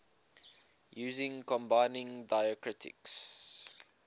using combining diacritics